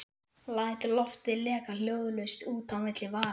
Læt loftið leka hljóðlaust út á milli varanna.